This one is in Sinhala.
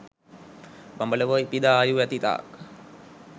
බඹලොව ඉපිද ආයු ඇතිතාක්